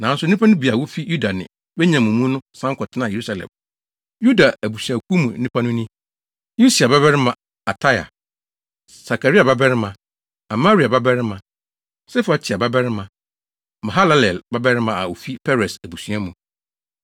nanso nnipa no bi a wofi Yuda ne Benyamin mu no san kɔtenaa Yerusalem. Yuda abusuakuw mu nnipa no ni: Usia babarima Ataia, Sakaria babarima, Amaria babarima, Sefatia babarima, Mahalalel babarima a ofi Peres abusua mu;